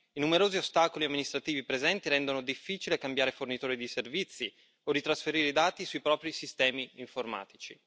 I numerosi ostacoli amministrativi presenti rendono difficile cambiare fornitore di servizi o ritrasferire i dati sui propri sistemi informatici.